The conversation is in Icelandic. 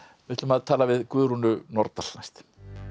við ætlum að tala við Guðrúnu Nordal næst